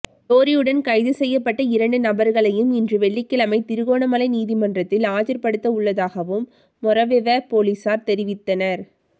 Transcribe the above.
லொறியுடன் கைது செய்யப்பட்ட இரண்டு நபர்களையும் இன்று வெள்ளிக்கிழமை திருகோணமலை நீதிமன்றத்தில் ஆஜர்படுத்த உள்ளதாகவும் மொறவெவ பொலிஸார் தெரிவித்தனர்